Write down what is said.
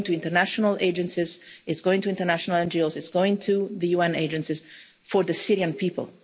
It's going to international agencies, it's going to international NGOs, and it's going to the UN agencies for the Syrian people.